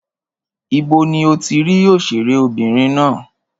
Ibo ni o ti rí òṣèré obìnrin ná?